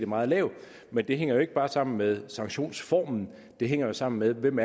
meget lavt men det hænger jo ikke bare sammen med sanktionsformen det hænger sammen med hvem